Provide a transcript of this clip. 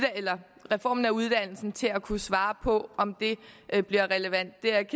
reformen af uddannelsen til at kunne svare på om det bliver relevant det er jeg